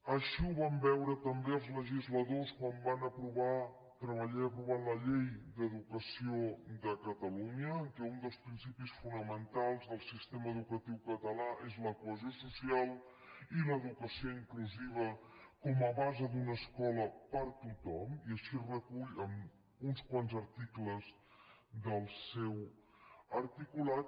així ho van veure també els legisladors quan van treballar i aprovar la llei d’educació de catalunya en què un dels principis fonamentals del sistema educatiu català és la cohesió social i l’educació inclusiva com a base d’una escola per a tothom i així es recull en uns quants articles del seu articulat